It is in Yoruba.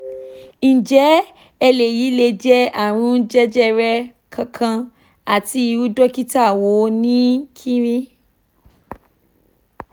nje eleyi le je arun jejere kan kan ati iru dokita wo ni kin ri